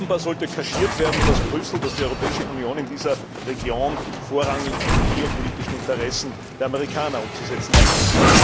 Offenbar sollte kaschiert werden, dass Brüssel, dass die Europäische Union in dieser Region vorrangig die geopolitischen Interessen der Amerikaner umzusetzen hatte.